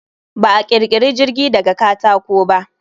Ba a ƙirkiri jirgi daga katako ba.